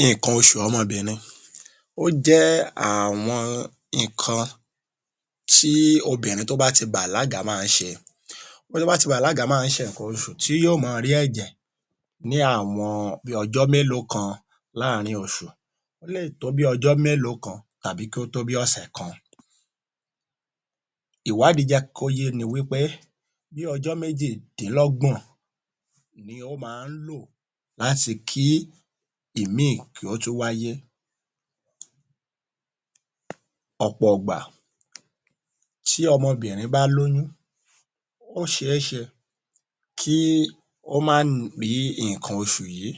Nǹkan oṣù ọmọbìnrin ó jẹ́ àwọn ǹkan tí obìnrin tó bá ti bàlágà ma ń ṣe bó bá ti bàlágà ma ń ṣe ǹkan oṣùn tí yó ma rí ẹ̀jẹ̀ ni àwọn bí ọjọ́ mélòó kan láàrin oṣù ó lè tó bí ọjọ́ mélòó kan tàbí kí ó tó bí ọ̀sẹ̀ kan. Ìwádìí jẹ́ kó yé’ni wí pé bí ọjọ́ bí méjìdínlọ́gbọ́n ni ó ma ń lò láti kí ìmíì kí ó tún wáyé. Ọ̀pọ̀ ìgbà tí ọmọbìnrin bá lóyún ó ṣeéṣe kí ó má ní ǹkan oṣù yí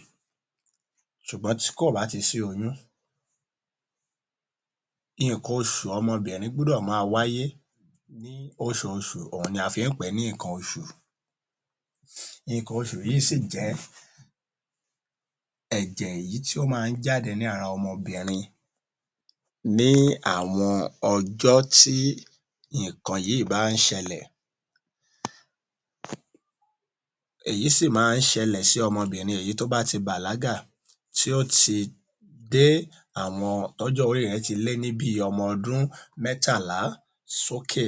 ṣùgbọ́n tí kò bá ti sí oyún ǹkan oṣù ọmọbìnrin gbọ́dọ̀ ma wáyé ní oṣooṣù òhun ni a fi ń pè é ní ‘’ǹkan oṣù’’. Ǹkan oṣù yìí sì jẹ́ ẹ̀jẹ̀ èyí tí ó ma ń jáde ni ara àwọn ọmọbìnrin ní àwọn ọjọ́ tí ǹkan yìí bá ń ṣelẹ̀. Èyí sì ma ń ṣẹlẹ̀ sí ọmọbìnrin èyí tó bá ti bàlágà tí ó ti dé àwọn.. tọ́jọ́ orí rẹ̀ ti lé ní bí ọmọ ọdún mẹ́tàlá sókè.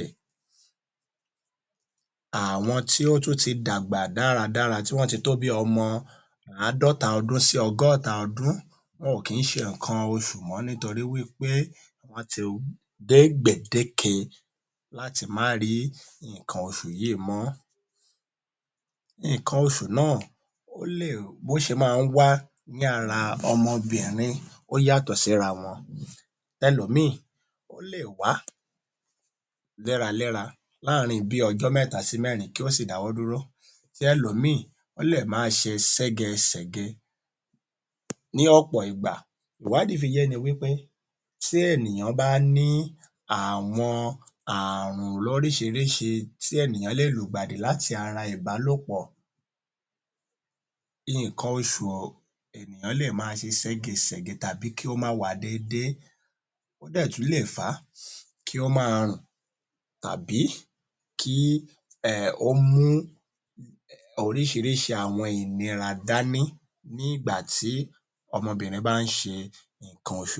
Àwọn tí ó tún ti dàgbà dáradára tí wọ́n ti tó bí ọmọ àádọ́ta ọdún sí ọgọ́ta ọdún wọn ò kì ń ṣe ǹkan oṣù mọ́ nítorí wí pé wọ́n ti dé gbèdéke láti má rí ǹkan oṣù yìí mọ́. Ǹkan oṣù náà ó lè...bó ṣe máa ń wá ní ara ọmọbìnrin ó yàtọ̀ síra wọn ẹlòmíìn ó lè wá léraléra láàrin bí ọjọ́ mẹ́ta sí mẹ́rin kí ó sì dáwọ́ dúró ti ẹlòmíìn lè ma ṣe ségesège. Ní ọ̀pọ̀ ìgbà ìwádìí fi yé’ni wí pé tí ènìyàn bá ní àwọn àrùn lóríṣirísi tí ènìyàn lè lùgbàdì láti ara ìbálòpọ̀, ǹkan oṣù ènìyàn lè ma se sẹ́gesège tàbí kí ó má wá déédé ó dẹ̀ tún lè fà á kí ó ma rùn tàbí kí ẹhn ó mú oríṣiríṣi àwọn ìnira dání ní ìgbà tí ọmọbìnrin bá ń ṣe ǹkan oṣù.